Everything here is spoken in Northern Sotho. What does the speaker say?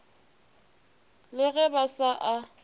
le ge ba sa a